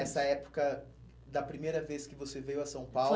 Essa época da primeira vez que você veio a São